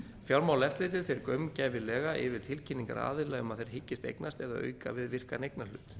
fjármálaeftirlitið fer gaumgæfilega yfir tilkynningar aðila um að þeir hyggist eignast eða auka við virkan eignarhlut